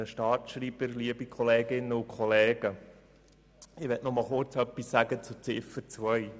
Ich möchte nur kurz etwas zu Ziffer 2 sagen.